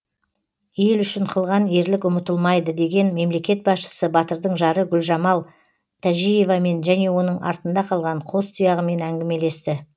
ел үшін қылған ерлік ұмытылмайды деген мемлекет басшысы батырдың жары гүлжамал тәжиевамен және оның артында қалған қос тұяғымен әңгімелесті